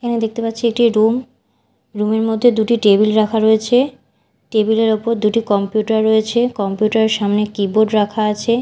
এখানে দেখতে পারছি একটি রুম রুম -এর মধ্যে দুটি টেবিল রাখা রয়েছে টেবিল -এর উপর দুটি কম্পিউটার রয়েছে কম্পিউটার -এর সামনে কিবোর্ড রাখা আছে।